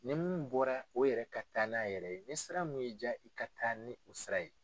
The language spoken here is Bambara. Ni mun bɔra o yɛrɛ ka taa n'a yɛrɛ ye ni sira min y'i ja i ka taa ni o sira ye.